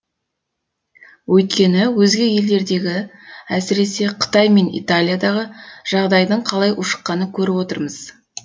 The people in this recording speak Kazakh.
өйткені өзге елдердегі әсіресе қытай мен италиядағы жағдайдың қалай ушыққанын көріп отырмыз